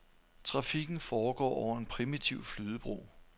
Trafikken foregår over en primitiv flydebro.